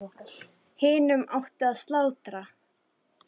Hinum átti að slátra.